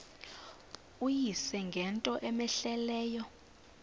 uyise ngento cmehleleyo